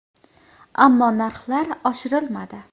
Ammo narxlar oshirilmadi.